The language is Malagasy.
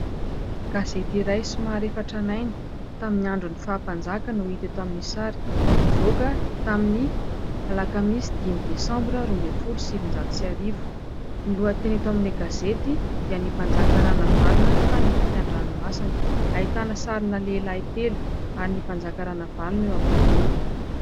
Gazety iray somary efa tranainy tamin'ny andro ny faha-mpanjaka no hita eto amin'ny sary: nivoaka tamin'ny alakamisy dimy desambra roa ambin'ny folo sy sivinjato sy arivo, ny lohateny eto amin'ny gazety dia ny mpanjaka Ranavalona tany ampitan-dranomasina ahitana sarina lehilahy telo ary ny mpanjaka Ranavalona eo ampovoany.